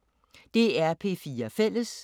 DR P4 Fælles